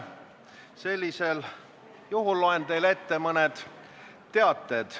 Sellisel juhul loen teile ette mõned teated.